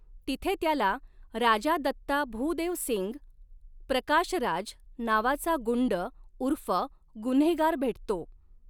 तिथे त्याला राजा दत्ता भुदेव सिंग प्रकाश राज नावाचा गुंड उर्फ गुन्हेगार भेटतो.